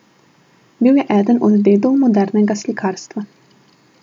Bil je eden od dedov modernega slikarstva.